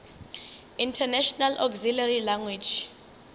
international auxiliary language